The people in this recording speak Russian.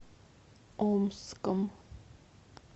омском